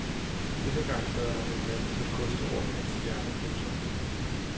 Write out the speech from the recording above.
Denne gang lader han en manager koste rundt med en stjerne. punktum